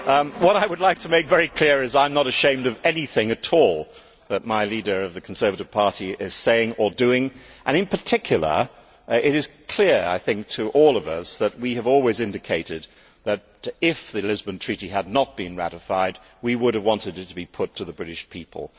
What I would like to make very clear is I am not ashamed of anything at all that the leader of the Conservative Party is saying or doing and, in particular, it is clear to all of us that we have always indicated that, if the Lisbon Treaty had not been ratified, we would have wanted it to be put to the British people.